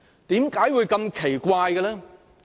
為何會如此奇怪呢？